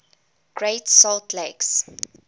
great salt lake